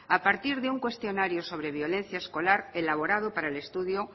a partir de un cuestionario sobre violencia escolar elaborado para el estudio